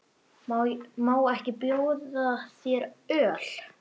Má ekki bjóða þér öl?